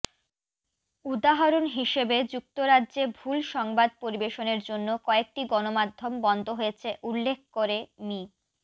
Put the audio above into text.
উদাহরণ হিসেবে যুক্তরাজ্যে ভুল সংবাদ পরিবেশনের জন্য কয়েকটি গণমাধ্যম বন্ধ হয়েছে উল্লেখ করে মি